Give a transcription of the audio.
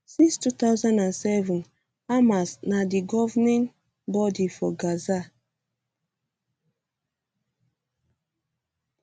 since 2007 hamas na di governing um body for gaza